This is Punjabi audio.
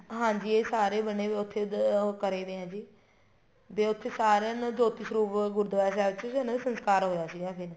ਹਾਂਜੀ ਇਹ ਸਾਰੇ ਬਣੇ ਪਏ ਹੈ ਉੱਥੇ ਉਹ ਕਰੇ ਵੇ ਹੈ ਜੀ ਦੇ ਉੱਥੇ ਸਾਰਿਆਂ ਨੂੰ ਜੋਤੀ ਸਰੂਪ ਗੁਰੂਦਵਾਰਾ ਸਾਹਿਬ ਚ ਇਹਨਾ ਦਾ ਸੰਸਕਾਰ ਹੋਇਆ ਸੀ ਫ਼ੇਰ